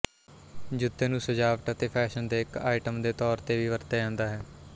ਜੁੱਤੇ ਨੂੰ ਸਜਾਵਟ ਅਤੇ ਫੈਸ਼ਨ ਦੇ ਇੱਕ ਆਈਟਮ ਦੇ ਤੌਰ ਤੇ ਵੀ ਵਰਤਿਆ ਜਾਂਦਾ ਹੈ